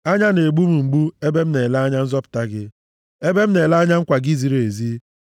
Anya na-egbu m mgbu ebe m na-ele anya nzọpụta gị ebe m na-ele anya nkwa gị ziri ezi.